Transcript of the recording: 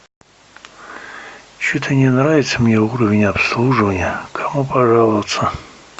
что то не нравится мне уровень обслуживания кому пожаловаться